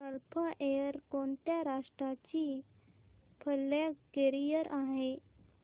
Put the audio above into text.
gulf Air कोणत्या राष्ट्राची flag carrier आहे